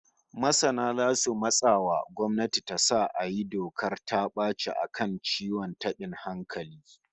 Masana zasu matsa wa gwamnati ta sa a yi dokar ta baci a kan ciwon tabin hankali